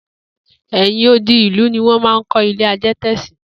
È̩yìn odi ìlú ni wó̩n máa ń kó̩ ilé adé̩tè̩ sí